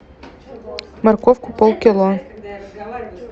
морковку полкило